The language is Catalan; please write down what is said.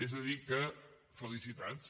és a dir que felicitats